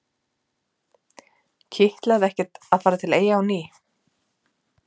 Kitlaði ekkert að fara til Eyja á ný?